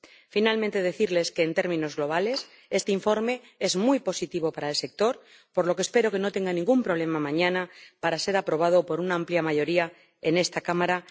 Finalmente, deseo decirles que, en términos globales, este informe es muy positivo para el sector, por lo que espero que no tenga ningún problema mañana para ser aprobado por una amplia mayoría en esta Cámara.